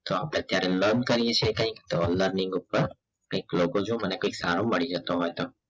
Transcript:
તો આપ અત્યારે learn કરીએ છીએ અત્યારે કંઈક તો learning ઉપર કંઈક logo જો મને કંઈક સારું મળી જતો હોય તો